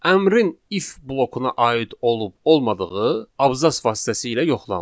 Əmrin if blokuna aid olub-olmadığı abzas vasitəsilə yoxlanılır.